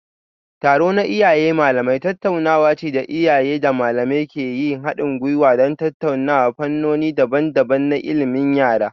Taro na Iyaye Malamai tattaunawa ce da iyaye da malamai ke yin hadin gwiwa don tattauna fannoni daban-daban na ilimin yara.